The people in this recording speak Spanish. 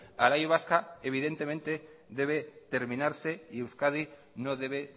a la y vasca evidentemente debe terminarse y euskadi no debe